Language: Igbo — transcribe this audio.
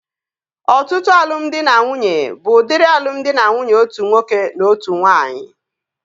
Ọtụtụ alụmdi na nwunye bụ udiri alụmdi na nwunye otu nwoke na otu nwaanyị